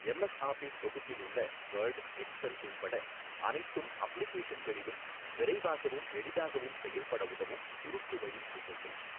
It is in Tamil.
எம் எஸ் ஆபிஸ் தொகுப்பில் உள்ள வேர்ட் எக்செல் உள்பட அனைத்தும் அப்ளிகேஷன்களிலும் விரைவாகவும் எளிதாகவும் செயல்பட உதவும் சுருக்கு வழி விசைகள்.